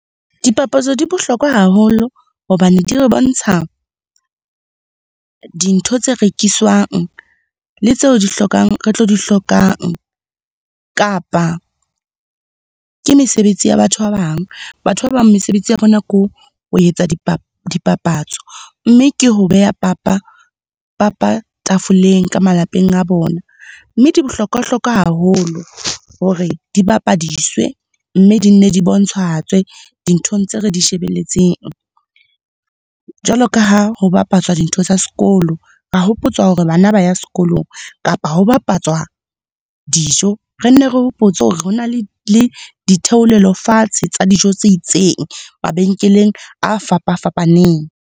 Dipapatso di bohlokwa haholo hobane di re bontsha dintho tse rekiswang le tseo di hlokang, re tlo di hlokang kapa, ke mesebetsi ya batho ba bang. Batho ba bang mesebetsi ya bona ke ho etsa dipapatso, mme ke ho beha papa tafoleng ka malapeng a bona. Mme di bohlokwa-hlokwa haholo hore di bapadiswe mme di nne di bontshahatswe dinthong tse re di shebelletseng. Jwalo ka ha ho bapatswa dintho tsa sekolo, ra hopotswa hore bana ba ya sekolong kapa ho bapatswa dijo. Re nne re hopotswe hore hona le ditheolelo fatshe tsa dijo tse itseng, mabenkeleng a fapa-fapaneng.